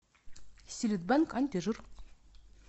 силит бенк антижир